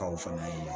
Kaw fana ye